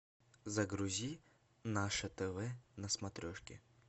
загрузи наше тв на смотрешке